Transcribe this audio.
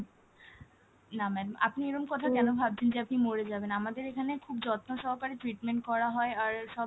না ma'am আপনি এরকম কথা কেন ভাবছেন যে আপনি মরে যাবেন! আমাদের এখানে খুব যত্ন সহকারে treatment করা হয় আর সব,